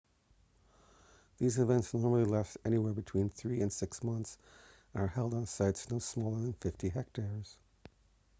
these events normally last anywhere between three and six months and are held on sites no smaller than 50 hectares